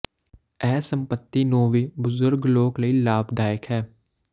ਇਹ ਸੰਪਤੀ ਨੂੰ ਵੀ ਬਜ਼ੁਰਗ ਲੋਕ ਲਈ ਲਾਭਦਾਇਕ ਹੈ